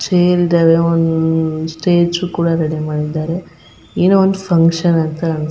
Chair ಇದಾವೆ ಅಹ್ ಅಹ್ ಅಹ್ ಸ್ಟೇಜ್ ಕೂಡ ರೆಡಿ ಮಾಡಿದ್ದಾರೆ ಏನೋ ಒಂದ್ ಫ್ಯೂನ್ಕ್ಷನ್ ಅಂತ ಅನಸ್ತೇ.